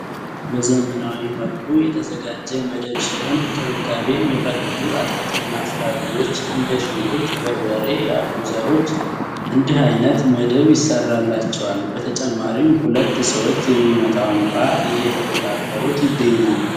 በዘመናዋ መልኩ የተዘጋጀ መደብ ሲሆን እንክብካቤ እሚፈልጉ አትክልትና ፍራፍሬዎች እንደ ሽንኩርት ፥በርበሬ ያሉ ዘሮች እንዲህ አይነት መደብ ይሰራላቸዋል ። በተጭማሪም ሁለት ሰዎች የሚመጣውን ውሃ እየተቆጣጠሩት ይገኛሉ ።